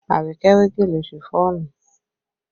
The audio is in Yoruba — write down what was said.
Abike we gèlè Ṣifọ́ọ̀nù